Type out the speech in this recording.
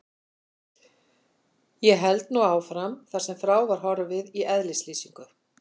Ég held nú áfram þar sem frá var horfið í eðlislýsingu